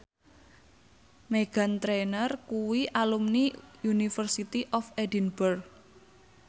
Meghan Trainor kuwi alumni University of Edinburgh